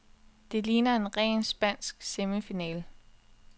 Det ligner en ren spansk semifinale.